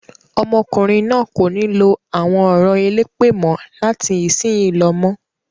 Ọmọkùnrin náà kò ní lo àwọn ọ̀rọ̀ elépè mọ́ láti ìsìnyí lọ mọ́.